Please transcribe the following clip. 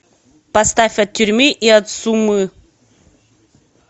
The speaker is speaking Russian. поставь от тюрьмы и от сумы